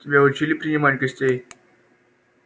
тебя учили принимать гостей